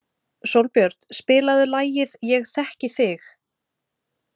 Sólbjört, spilaðu lagið „Ég þekki þig“.